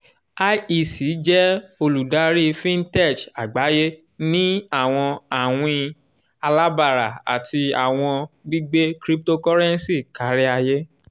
iec jẹ oludari fintech agbaye ni awọn awin alabara ati awọn gbigbe cryptocurrency kariaye.